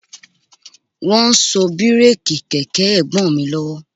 Wọ́n ń so bíréèkì kẹ̀kẹ́ Ẹ̀gbọ́n mi lọ́wọ́